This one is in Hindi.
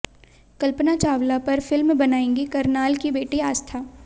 कल्पना चावला पर फिल्म बनाएंगी करनाल की बेटी आस्था